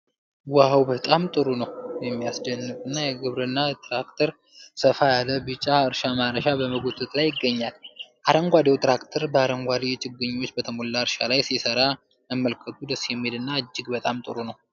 ዋው፣ በጣም ጥሩ ነው! የሚያስደንቅ የግብርና ትራክተር ሰፋ ያለ ቢጫ እርሻ ማረሻ በመጎተት ላይ ይገኛል። አረንጓዴው ትራክተር በአረንጓዴ ችግኞች በተሞላ እርሻ ላይ ሲሰራ መመልከቱ ደስ የሚል እና እጅግ በጣም ጥሩ ነው።